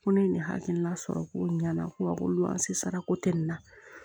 Ko ne ye nin hakilina sɔrɔ ko ɲɛna ko awɔ an sera ko tɛ nin na